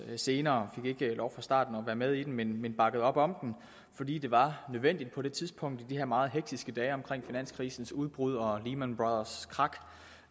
senere vi fik ikke lov fra starten at være med i den men men bakkede op om den fordi det var nødvendigt på det tidspunkt i de her meget hektiske dage omkring finanskrisens udbrud og lehman brothers’ krak